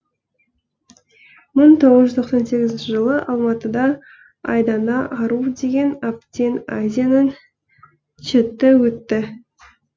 мың тоғыз жүз тоқсан сегізінші жылы алматыда айдана ару деген атпен азияның ч ты өтті